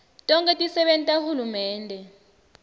tonkhe tisebenti tahulumende